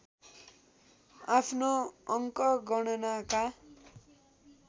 आफ्नो अङ्क गणनाका